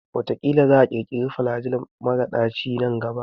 Ƙila za a ƙirkira flajil mara daci nan gaba.